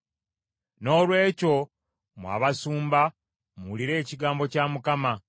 “ ‘Noolwekyo mmwe abasumba, muwulire ekigambo kya Mukama :